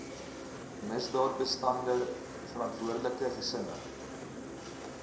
misdaadbestande verantwoordelike gesinne